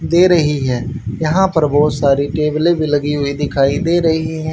दे रही है यहां पर बहोत सारी टेबले भी लगी हुई दिखाई दे रही है।